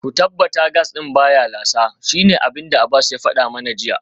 Ku tabbata gas din baya lasa, shine abinda Abbas ya fada mana jiya